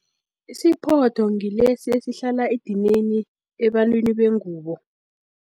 Isiphoto ngilesi esihlala edinini, ebantwini bengubo.